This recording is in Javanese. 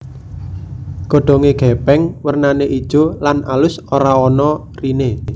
Godhonge gepeng wernane ijo lan alus ora ana rine